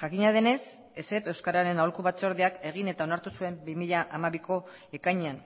jakina denez esep euskararen aholku batzordeak egin eta onartu zuen bi mila hamabiko ekainean